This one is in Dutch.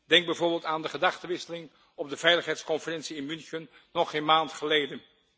Denk bijvoorbeeld aan de gedachtewisseling op de Veiligheidsconferentie in München, nog geen maand geleden.